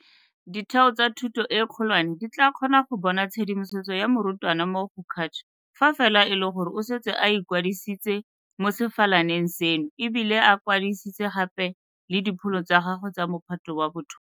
Ditheo tsa thuto e kgolwane di tla kgona go bona tshedimosetso ya morutwana mo go CACH fa fela e le gore o setse a ikwadisitse mo sefalaneng seno e bile a kwadisitse gape le dipholo tsa gagwe tsa Mophato wa bo 12.